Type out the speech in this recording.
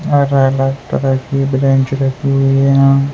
bench रखी हुई है यहां --